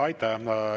Aitäh!